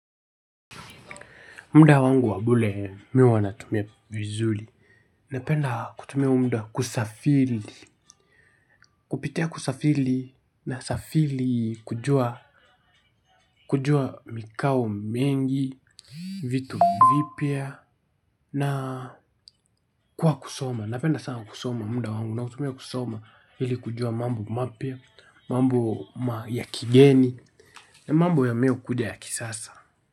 Muda wangu wa bure mi huwa natumia vizuri. Napenda kutumia huo muda kusafiri. Kupitia kusafiri nasafiri kujua mikao mengi, vitu vipya na kwa kusoma. Napenda sana kusoma muda wangu nautumia kusoma hili kujua mambo mapya, mambo ya kigeni, mambo yameo kuja ya kisasa.